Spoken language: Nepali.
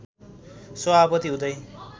सभापति हुँदै